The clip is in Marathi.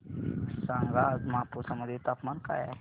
सांगा आज मापुसा मध्ये तापमान काय आहे